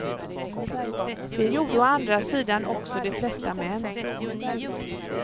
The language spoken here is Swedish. Det gjorde å andra sidan också de flesta män.